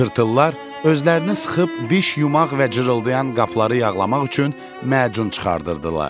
Tırtıllar özlərini sıxıb diş yumaq və cırıldayan qapıları yağlamaq üçün macun çıxardırdılar.